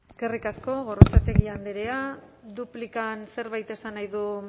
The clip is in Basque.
eskerrik asko gorrotxategi andrea duplikan zerbait esan nahi du